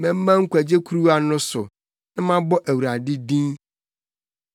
Mɛma nkwagye kuruwa no so na mabɔ Awurade din.